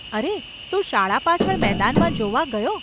અરે, તું શાળા પાછળ મેદાનમાં જોવા ગયો?